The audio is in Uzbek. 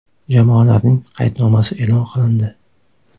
Jamoalarning qaydnomasi e’lon qilindi.